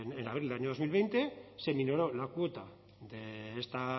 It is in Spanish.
en abril del año dos mil veinte se minoró la cuota